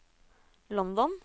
London